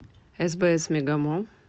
сбс мегамолл